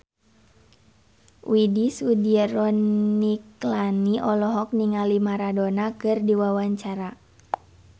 Widy Soediro Nichlany olohok ningali Maradona keur diwawancara